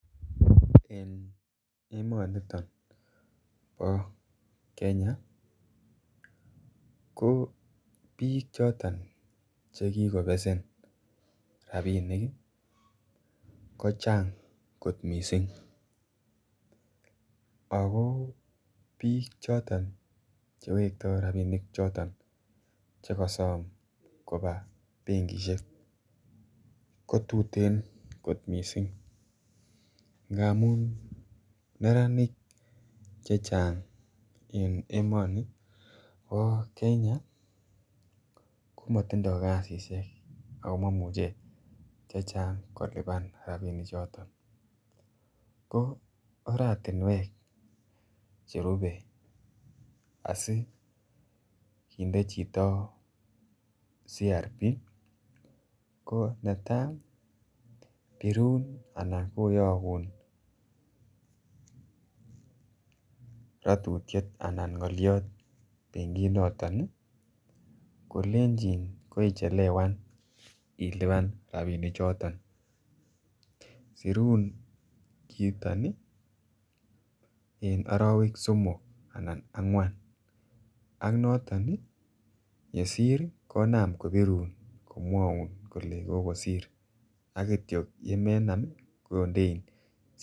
En emoniton bo Kenya ko biik choton che kikobesen rabinik ii kochang kot missing ii ako biik choton che wekto rabinik choton che kosom kobaa benkishek ko tuten kot missing ngamun neranik chechang en emoni bo Kenya komotindo kazishek ako momuche chechang kolipan rabinik choton. Ko oratinwek cherupe asi kinde chito CRB ko netaa birun anan koyogun rotutiet anan ngoliot en kolenjin korichelewan ilipan rabinik choton sirun kiiton en orowek somok anan angwan ak noton ii yessir konam kobirun komwoun kole kokosir ak kityo yemenam kondein CRB